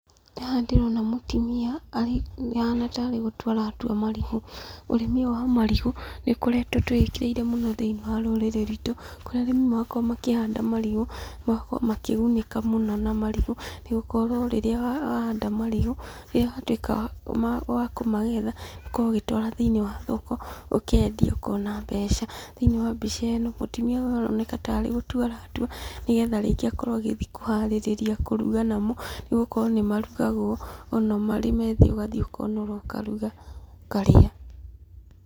Haha ndĩrona mũtumia, ahana tarĩ gũtua aratua marigũ. Ũrĩmi ũyũ wa marigũ nĩ ũkoretwo tũwĩkĩire mũno thiĩniĩ wa rũrĩrĩ rwitũ kũrĩa rĩmwe makoragwo makĩhanda marigũ magakorwo makĩgunĩka mũno na marigũ nĩ gũkorwo rĩrĩa ahanda marigũ, rĩrĩa atuĩka wa kũmagetha agakorwo agĩtwara thĩiniĩ wa thoko ũkendia ũkona mbeca. Thĩiniĩ wa mbica ĩno mũtumia ũyũ aroneka tarĩ gũtua aratua, nĩgetha rĩngi akorwo agĩthiĩ kũharĩrĩria kũruga namo, nĩ gũkorwo nĩ marugagwo ona mari methĩ, ũgathiĩ ũkaũnũra ũkaruga ũkarĩa.